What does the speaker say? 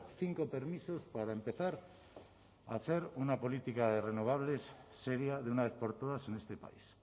cinco permisos para empezar a hacer una política de renovables seria de una vez por todas en este país